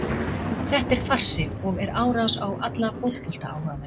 Þetta er farsi og er árás á alla fótboltaáhugamenn.